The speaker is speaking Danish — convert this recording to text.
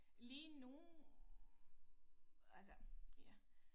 Lige nu altså ja